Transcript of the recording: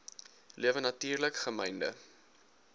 lewe natuurlik gemynde